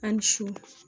A ni su